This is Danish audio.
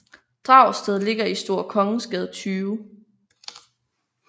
Dragsted ligger i Store Kongensgade 20